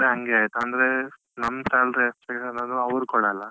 ಹಂಗೆ ಆಯ್ತು ಅಂದ್ರೆ ನಮ್ಮ್ salary expect ಇರೋದು ಅವ್ರ್ ಕೊಡಲ್ಲ.